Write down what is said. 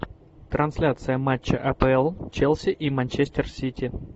трансляция матча апл челси и манчестер сити